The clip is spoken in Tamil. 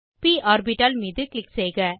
ப் ஆர்பிட்டால் மீது க்ளிக் செய்க